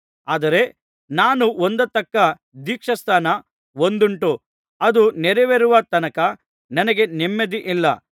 ಆದರೆ ನಾನು ಹೊಂದತಕ್ಕ ದೀಕ್ಷಾಸ್ನಾನ ಒಂದುಂಟು ಅದು ನೆರವೇರುವ ತನಕ ನನಗೆ ನೆಮ್ಮದಿಯಿಲ್ಲ